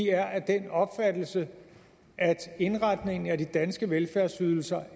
er af den opfattelse at indretningen af de danske velfærdsydelser